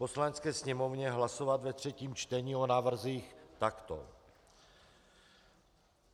Poslanecké sněmovně hlasovat ve třetím čtení o návrzích takto: